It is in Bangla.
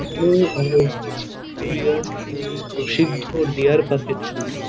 এই পুরুলিয়ার প্রশিদ্ধ ডেয়ার পার্ক -এর ছবি।